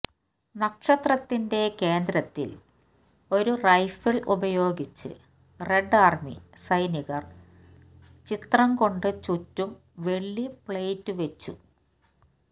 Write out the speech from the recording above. നക്ഷത്രത്തിന്റെ കേന്ദ്രത്തിൽ ഒരു റൈഫിൾ ഉപയോഗിച്ച് റെഡ് ആർമി സൈനികർ ചിത്രം കൊണ്ട് ചുറ്റും വെള്ളി പ്ലേറ്റ് വെച്ചു